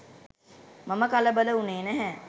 මම කලබල වුණේ නැහැ.